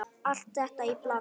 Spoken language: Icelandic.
Allt þetta í bland?